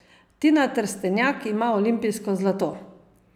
Tina Trstenjak ima olimpijsko zlato!